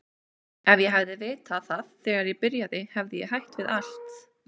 Ef ég hefði vitað það þegar ég byrjaði hefði ég hætt við allt.